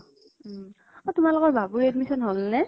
উম অ তোমালোকৰ বাবুৰ admission হল নে?